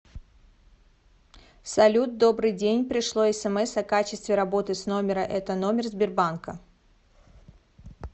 салют добрый день пришло смс о качестве работы с номера это номер сбер банка